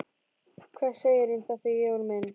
Hvað segirðu um þetta, Jón minn?